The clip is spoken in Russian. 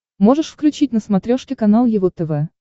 можешь включить на смотрешке канал его тв